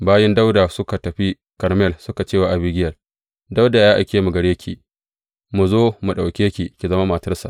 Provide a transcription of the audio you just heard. Bayin Dawuda suka tafi Karmel suka ce wa Abigiyel, Dawuda ya aike mu gare ki, mu zo mu ɗauke ki ki zama matarsa.